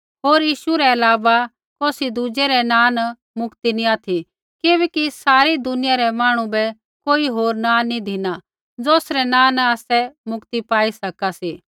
होर यीशु रै अलावा कौसी दुज़ै रै नाँ न मुक्ति नी ऑथि किबैकि सारै दुनिया रै मांहणु बै कोई होर नाँ नी धिना ज़ौसरै नाँ न आसै मुक्ति पाई सका सी